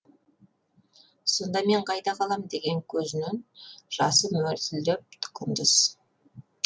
сонда мен қайда қалам деген көзінен жасы мөлтілдеп құндыз